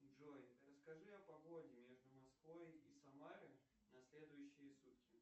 джой расскажи о погоде между москвой и самарой на следующие сутки